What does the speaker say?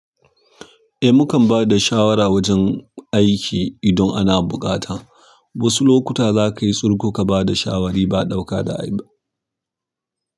Eh mu kan bada shawara wajen aiki idan ana buƙata, wasu lokuta za ka yi tsurko ka bada shawari ba ɗauka da abi.